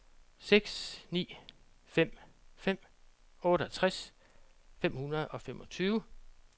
seks ni fem fem otteogtres fem hundrede og femogtyve